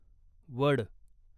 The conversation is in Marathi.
वड